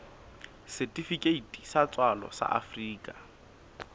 setifikeiti sa tswalo sa afrika